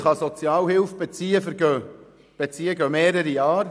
Bis jemand Sozialhilfe beziehen kann, vergehen mehrere Jahre.